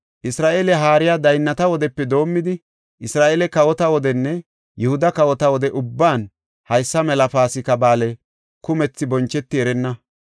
Isra7eele haariya daynnata wodepe doomidi, Isra7eele kawota wodenne Yihuda kawota wode ubban haysa mela Paasika Ba7aale kumethi boncheti erenna.